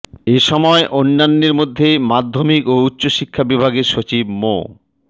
এ সময় অন্যান্যের মধ্যে মাধ্যমিক ও উচ্চ শিক্ষা বিভাগের সচিব মো